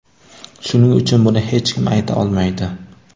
Shuning uchun buni hech kim ayta olmaydi.